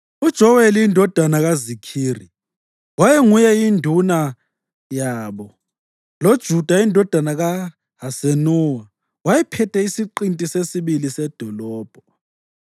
UJoweli indodana kaZikhiri wayenguye induna yabo, loJuda indodana kaHasenuwa wayephethe iSiqinti seSibili sedolobho.